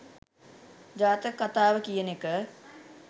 ජාතක කථාව කියන එක